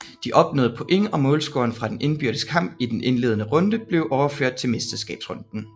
De opnåede point og målscoren fra den indbyrdes kamp i den indledende runde blev overført til mesterskabsrunden